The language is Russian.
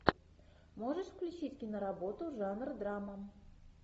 можешь включить киноработу жанр драма